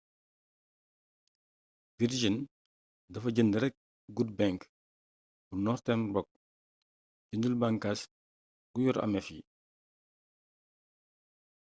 virgin dafa jënd rekk good bank bu northern rock jëndul bànkaas gu yor ameef yi